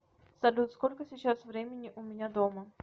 салют сколько сейчас времени у меня дома